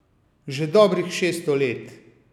Že dobrih šeststo let.